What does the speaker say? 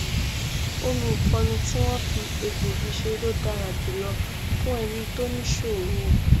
omi ìfọnu tí wọn fi egbòogi ṣe ló dára jùlọ fún ẹnu tó ní ìṣoro